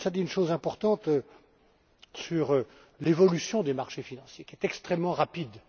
Klinz a dit une chose importante sur l'évolution des marchés financiers, qui est extrêmement rapide.